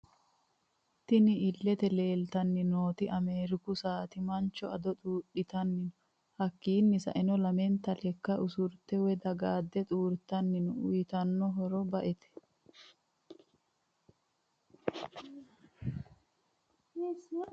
Tinni illete leelitanni nooti ameeriku saati manchi ado xuudhitani no hakiino sa'eena lamenta lekka osurite woyi dagaade xuuritani no uyiitano horro ba'ete.........